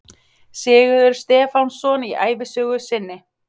Sigurður Stefánsson í ævisögu sinni